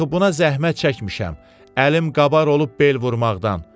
Axı buna zəhmət çəkmişəm, əlim qabar olub bel vurmaqdan.